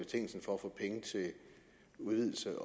betingelsen for at få penge til udvidelse